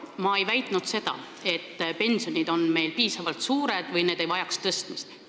Ma ei väitnud, nagu pensionid oleksid meil piisavalt suured või need ei vajaks tõstmist.